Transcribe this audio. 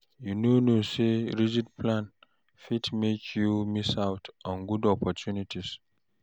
You no know sey rigid plan fit make you miss out on good opportunities?